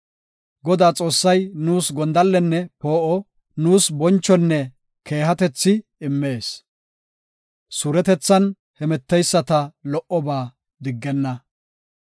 Godaa Xoossay nuus gondallenne poo7o; nuus bonchonne keehatethi immees; suuretethan hemeteyisata lo77oba diggenna.